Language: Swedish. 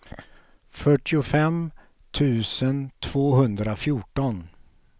fyrtiofem tusen tvåhundrafjorton